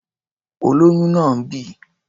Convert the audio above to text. Olóyún náà ń bì.